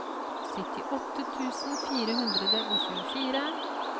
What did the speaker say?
syttiåtte tusen fire hundre og tjuefire